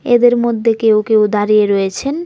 এদের মধ্যে কেউ কেউ দাঁড়িয়ে রয়েছেন।